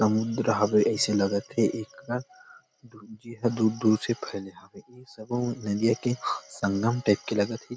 समुंद्र हवे ऎसे लगत हे एक कर दूर दूर से फैले है ए सभो नदियाँ के संगम टाइप के लगत हे ।